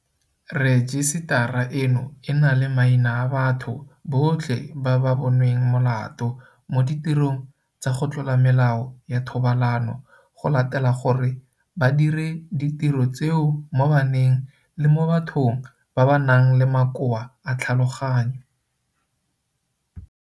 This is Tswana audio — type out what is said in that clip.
Rejisetara eno e na le maina a batho botlhe ba ba bo nweng molato mo ditirong tsa go tlola melao ya thobalano go latela gore ba dire ditiro tseo mo baneng le mo bathong ba ba nang le makoa a tlhaloganyo.